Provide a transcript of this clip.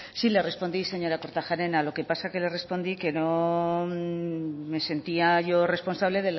sí le respondí señora kortajarena lo que pasa que le respondí que no me sentía yo responsable